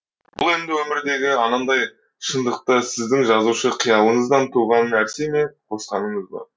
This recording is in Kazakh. бұл енді өмірдегі анандай шындықты сіздің жазушы қиялыңыздан туған нәрсе ме қосқаныңыз ба